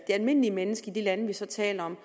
almindelige menneske i de lande vi så taler om